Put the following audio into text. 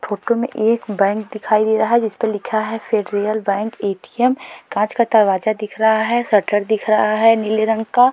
Photo में एक bank दिखाई दे रहा है जिसपे लिखा है फेडरियल बैंक ए.टी.एम. । कांच का दरवाजा दिख रहा है शटर दिख रहा है नीले रंग का।